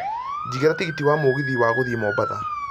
jigĩra tigiti wa mũgithi wa gũthiĩ mombatha